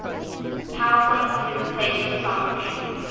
powerpoint presentation software